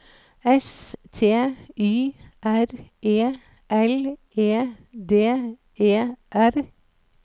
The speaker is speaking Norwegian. S T Y R E L E D E R